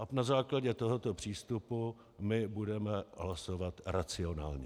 A na základě tohoto přístupu my budeme hlasovat racionálně.